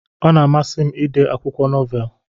Ọna amasi m ide akwụkwọ nọvel.